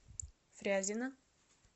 фрязино